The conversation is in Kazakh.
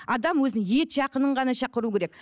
адам өзінің ет жақынын ғана шақыруы керек